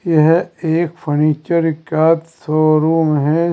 यह एक फर्नीचर का शोरूम है।